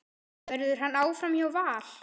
Verður hann áfram hjá Val?